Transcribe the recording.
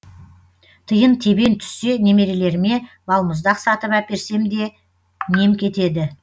тиын тебен түссе немерелеріме балмұздақ сатып әперсем де нем кетеді